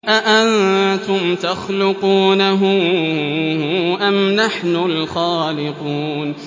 أَأَنتُمْ تَخْلُقُونَهُ أَمْ نَحْنُ الْخَالِقُونَ